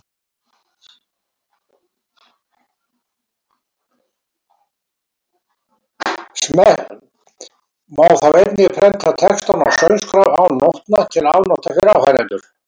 Má þá einnig prenta textann á söngskrá án nótna til afnota fyrir áheyrendur.